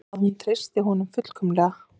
Að hún treystir honum fullkomlega.